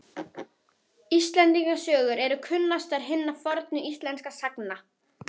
Íslendingasögur eru kunnastar hinna fornu íslensku sagna.